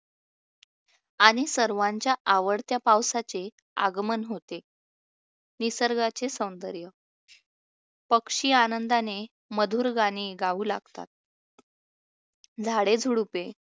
आणि सर्वांच्या आवडत्या पावसाचे आगमन होते. निसर्गाचे सौंदर्य पक्षी आनंदाने मधुर गाणी गाऊ लागतात, झाडेझुडुपे